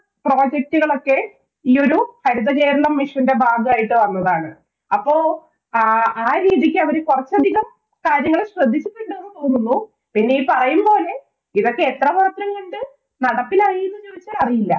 project കളൊക്കെ ഈ ഒരു ഹരിതകേരളം mission ന്‍റെ ഭാഗമായിട്ട് വന്നതാണ്. അപ്പൊ ആ ആ രീതിക്ക് അവര് കുറച്ചധികം കാര്യങ്ങൾ ശ്രദ്ധിച്ചിട്ടുണ്ടാവും എന്ന് തോന്നുന്നു. പിന്നെ ഈ പറയുമ്പോലെ ഇതൊക്കെ എത്രമാത്രം കണ്ടു നടപ്പിലായി എന്ന് ചോദിച്ചാല്‍ അറിയില്ല.